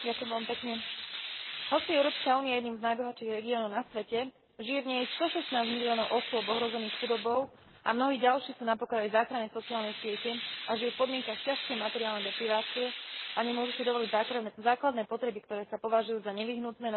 Hoci je Európska únia jedným z najbohatších regiónov na svete, žije v nej 116 miliónov osôb ohrozených chudobou a mnohí ďalší sú na pokraji záchrannej sociálnej siete a žijú v podmienkach ťažkej materiálnej deprivácie a nemôžu si dovoliť základné potreby, ktoré sa považujú za nevyhnutné na slušný život v Európe.